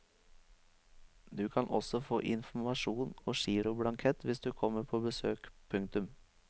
Du kan også få informasjon og giroblankett hvis du kommer på besøk. punktum